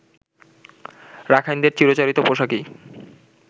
রাখাইনদের চিরাচরিত পোশাকেই